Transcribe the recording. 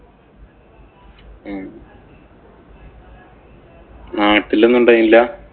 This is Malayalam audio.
നാട്ടിലൊന്നും ഉണ്ടായില്ല.